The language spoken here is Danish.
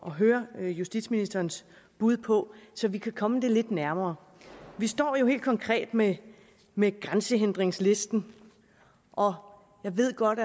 at høre justitsministerens bud på så vi kan komme det lidt nærmere vi står jo helt konkret med med grænsehindringslisten og jeg ved godt